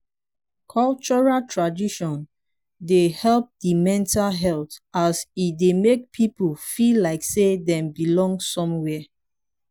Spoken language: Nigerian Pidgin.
cultural tradition de help di mental health as e dey make pipo feel like sey dem belong somewhere